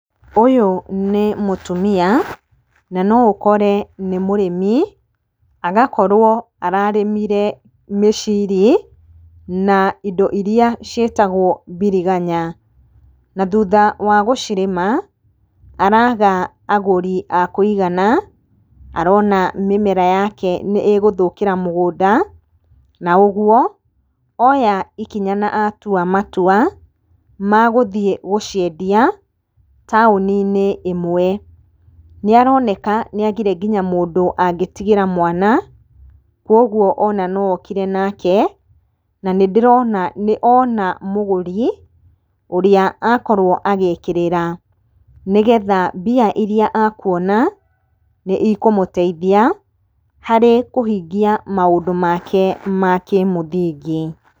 Ũyũ nĩ mũtumia, na no ũkore nĩ mũrĩmi. Agakorwo ararĩmire mĩciri, na indo iria cĩĩtagwo mbiriganya. Na thutha wa gũcirĩma, araga agũri a kũigana, arona mĩmera yake nĩ-ĩgũthũkĩra mũgũnda. Na ũguo, oya ikinya na atua matua, ma gũthiĩ gũciendia taũni-nĩ ĩmwe. Nĩaroneka nĩagĩre nginya mũndũ angĩtigĩra mwana. Koguo ona no okire nake, na nĩndĩrona nĩona mũgũri, ũrĩa akorwo agĩkĩrĩra. Nĩgetha mbia iria akuona nĩikũmũteithia harĩ kũhingia maũndũ make ma kĩmũthingi